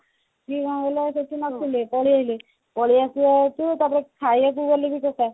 ସିଏ କଣ କଲେ ସେଠି ନଥିଲେ ପଳେଇଲେ ପଳେଈ ଆସିବା ହେତୁ ତାପରେ ଖାଇବା କୁ ଗଲେଣି ସତ